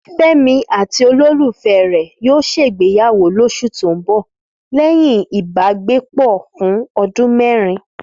Fẹ́mi àti olólùfẹ́ rẹ̀ yóò ṣègbéyàwó lóṣù tó ń bọ̀ lẹ́yìn ìbákẹ́gbẹ́pọ̀ fún ọdún mẹ́rin